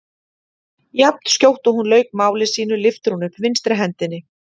Jafnskjótt og hún lauk máli sínu lyfti hún upp vinstri hendinni.